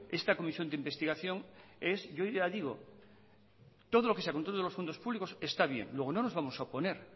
esta comisión de investigación es yo ya digo todo lo que sea control de los fondos públicos está bien luego no nos vamos a oponer